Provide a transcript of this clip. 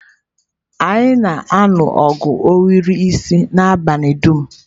Anyị na-alụ ogu ohiri isi n'abalị dum.